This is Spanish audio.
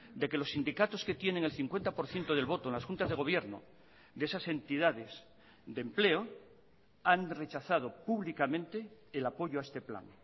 de que los sindicatos que tienen el cincuenta por ciento del voto en las juntas de gobierno de esas entidades de empleo han rechazado públicamente el apoyo a este plan